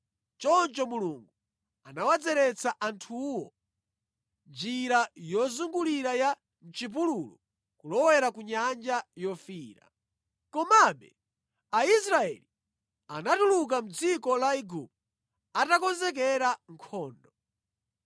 Choncho Mulungu anawadzeretsa anthuwo njira yozungulira ya mʼchipululu kulowera ku Nyanja Yofiira. Komabe Aisraeli anatuluka mʼdziko la Igupto atakonzekera nkhondo.